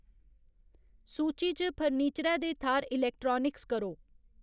सूची च फर्नीचरै दे थाह्र इलैक्ट्रानिक्स करो